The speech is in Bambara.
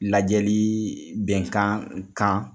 Lajɛli bɛnkan kan